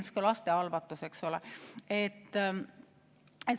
Näiteks ka lastehalvatus, eks ole.